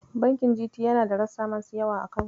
Bankin GT yana da rassa masu yawa a Kano.